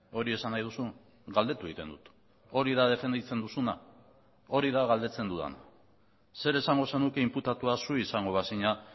hori esan nahi duzu galdetu egiten dut hori da defenditzen duzuna hori da galdetzen dudana zer esango zenuke inputatua zu izango bazina